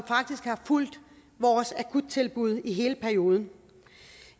fulgt vores akuttilbud i hele perioden